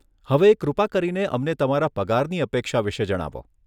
હવે કૃપા કરીને અમને તમારા પગારની અપેક્ષા વિશે જણાવો.